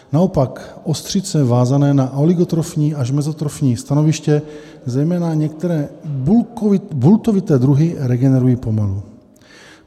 Naopak ostřice vázané na oligotrofní až mezotrofní stanoviště, zejména některé bultovité druhy, regenerují pomalu.